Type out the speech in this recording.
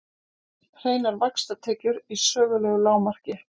Hreinar vaxtatekjur í sögulegu lágmarki